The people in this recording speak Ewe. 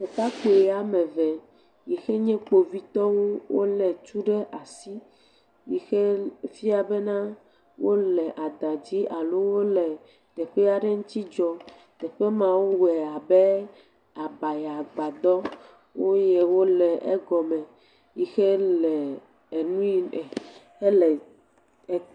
Ɖekakpu woame eve yi xe nye kpovitɔwo wole tu ɖe asi yike fia be na wole adã dzi alo wole teƒe aɖe ŋuti dzɔ. Teƒe ma wo wɔe abe abayagbadɔ eye wole egɔme yike le ennui hele…